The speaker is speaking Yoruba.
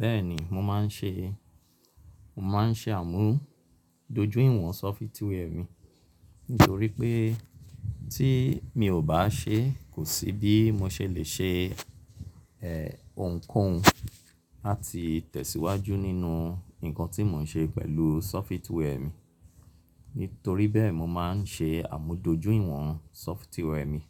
Bẹ́ẹ̀ni mo máa ń ṣe, mo máa ń ṣe àmúdoju ìwọ̀n software mi nítorí pé tí mi ò bá ṣe kò sí bí mo ṣe lè ṣe eh òhunkohun àti tẹ̀síwájú nínú ǹkan tí mò ń ṣe pẹ̀lú software mi. Nítorí bẹ́ẹ̀ mo máa ń ṣe àmújútójú ìwọ̀n software mi